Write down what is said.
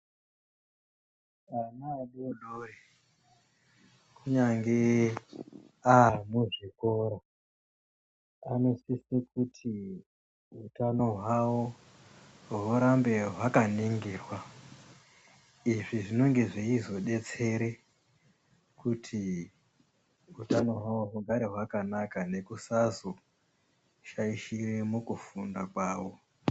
Ana adori-dori kunyange amuzvikoro anosise kuti utano hwawo hurambe hwakaningirwa. Izvi zvinenge zveizodetsere kuti utano hwawo hugare hwakanaka nekusazoshaishire mukufunda kwawo.